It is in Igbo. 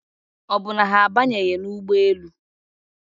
Ọ bụ na ha abanyebeghị n'ụgbọelu?